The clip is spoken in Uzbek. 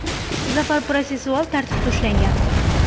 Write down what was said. Zafar I. protsessual tartibda ushlangan.